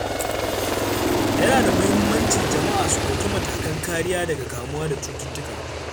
Yana da muhimmanci jama'a su ɗauki matakan kariya daga kamuwa da cututtuka.